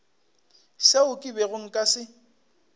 seo ke bego nka se